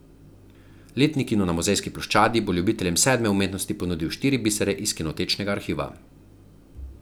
Letni kino na Muzejski ploščadi bo ljubiteljem sedme umetnosti ponudil štiri bisere iz kinotečnega arhiva.